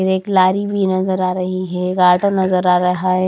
एक लाड़ी भी नजर आ रही है लाडो नजर आ रहा हैं।